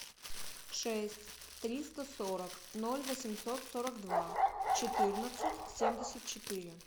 шесть триста сорок ноль восемьсот сорок два четырнадцать семьдесят четыре